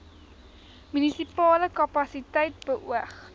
munisipale kapasiteit beoog